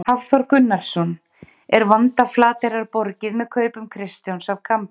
Hafþór Gunnarsson: Er vanda Flateyrar borgið með kaupum Kristjáns af Kambi?